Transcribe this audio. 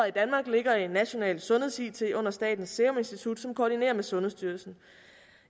i danmark ligger i nationalt sundheds it under statens serum institut som koordinerer med sundhedsstyrelsen